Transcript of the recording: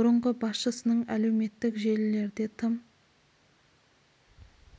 бұрынғы басшысының әлеуметтік желілерде тым